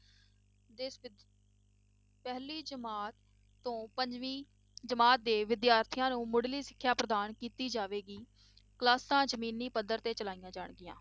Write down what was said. ਪਹਿਲੀ ਜਮਾਤ ਤੋਂ ਪੰਜਵੀ ਜਮਾਤ ਦੇ ਵਿਦਿਆਰਥੀਆਂ ਨੂੰ ਮੁੱਢਲੀ ਸਿੱਖਿਆ ਪ੍ਰਦਾਨ ਕੀਤੀ ਜਾਵੇਗੀ Classes ਜ਼ਮੀਨਾਂ ਪੱਧਰ ਤੇ ਚਲਾਈਆਂ ਜਾਣਗੀਆਂ।